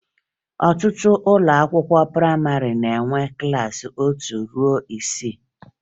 Ọtụtụ ụlọakwụkwọ prayịmarị na-enwe klassị otu ruo isii